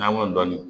N'an y'o dɔni